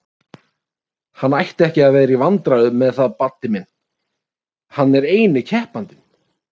Hann ætti ekki að vera í vandræðum með það Baddi minn, hann er eini keppandinn!